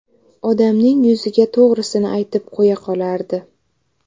Odamning yuziga to‘g‘risini aytib qo‘ya qolardi.